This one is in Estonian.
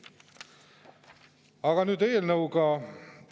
Aga nüüd eelnõu juurde.